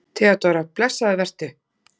THEODÓRA: Blessaður vertu!